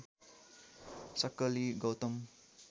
सक्कली गौतम